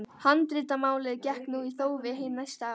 Handritamálið gekk nú í þófi hin næstu ár.